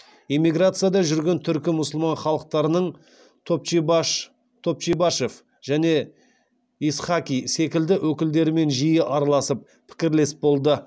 эмиграцияда жүрген түркі мұсылман халықтарының топчибашев және исхаки секілді өкілдерімен жиі араласып пікірлес болды